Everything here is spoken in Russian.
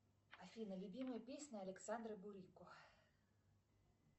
афина любимая песня александра бурико